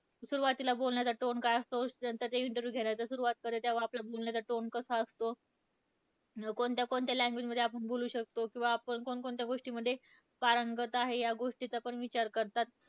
सुरुवातीला बोलण्याचा tone काय असतो, त्यानंतर interview घेणाऱ्याचा सुरुवात करतो तेंव्हा आपल्या बोलण्याचा tone कसा असतो, कोणत्या कोणत्या language मध्ये आपण बोलू शकतो किंवा आपण कोणकोणत्या गोष्टींमध्ये पारंगत आहे या गोष्टींचा पण विचार करतात.